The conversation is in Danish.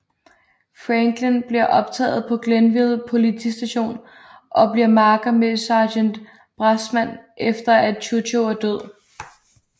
Franklin bliver optaget på Glenville Politistation og bliver makker med sergent Bressman efter som at Chucho er død